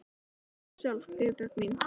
Hvað segir þú sjálf, Guðbjörg mín?